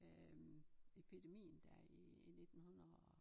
Øh epidemien der i 19 hundrede og